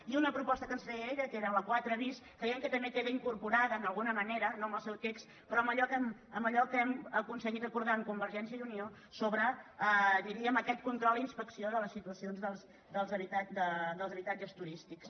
i una proposta que ens feia ella que era la quatre bis que deia que també queda incorporada d’alguna ma·nera no amb el seu text però amb allò que hem acon·seguit acordar amb convergència i unió sobre di·ríem aquest control i inspecció de les situacions dels habitatges turístics